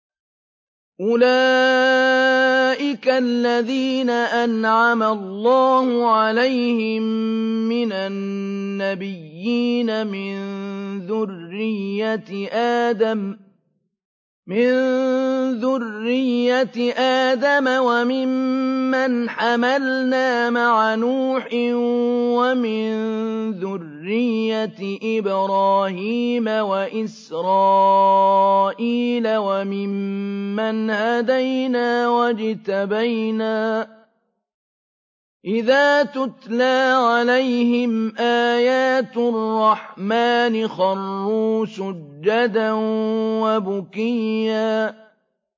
أُولَٰئِكَ الَّذِينَ أَنْعَمَ اللَّهُ عَلَيْهِم مِّنَ النَّبِيِّينَ مِن ذُرِّيَّةِ آدَمَ وَمِمَّنْ حَمَلْنَا مَعَ نُوحٍ وَمِن ذُرِّيَّةِ إِبْرَاهِيمَ وَإِسْرَائِيلَ وَمِمَّنْ هَدَيْنَا وَاجْتَبَيْنَا ۚ إِذَا تُتْلَىٰ عَلَيْهِمْ آيَاتُ الرَّحْمَٰنِ خَرُّوا سُجَّدًا وَبُكِيًّا ۩